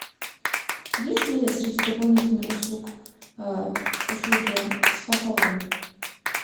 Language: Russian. есть ли среди дополнительных услуг услуги спа салона